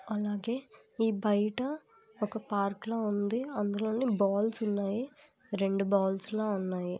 అలాగే ఈ బయట ఒక పార్క్ లో ఉంది అందులోని బాల్స్ ఉన్నాయి రెండు బాల్స్ లో ఉన్నాయి